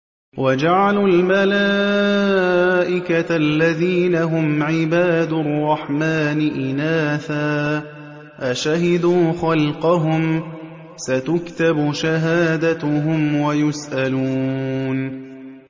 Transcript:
وَجَعَلُوا الْمَلَائِكَةَ الَّذِينَ هُمْ عِبَادُ الرَّحْمَٰنِ إِنَاثًا ۚ أَشَهِدُوا خَلْقَهُمْ ۚ سَتُكْتَبُ شَهَادَتُهُمْ وَيُسْأَلُونَ